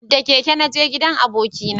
Da keke na naje gidan abokina